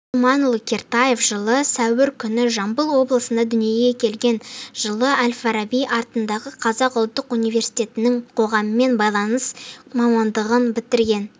ринат думанұлы кертаев жылы сәуір күні жамбыл облысында дүниеге келген жылы әл-фараби атындағы қазақ ұлттық университетінің қоғаммен байланыс мамандығын бітірген